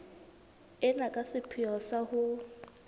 ena ka sepheo sa ho